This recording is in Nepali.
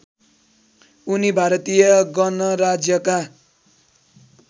उनी भारतीय गणराज्यका